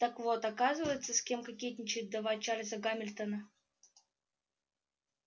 так вот оказывается с кем кокетничает вдова чарлза гамильтона